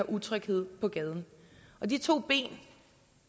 utryghed på gaden og de to ben